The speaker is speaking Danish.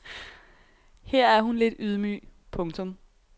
Her er hun lidt ydmyg. punktum